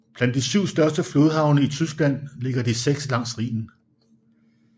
Blandt de syv største flodhavne i Tyskland ligger de seks langs Rhinen